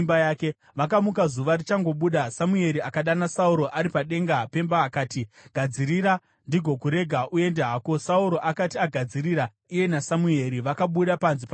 Vakamuka zuva richangobuda Samueri akadana Sauro ari padenga pemba akati, “Gadzirira ndigokurega uende hako.” Sauro akati agadzirira iye naSamueri vakabuda panze pamwe chete.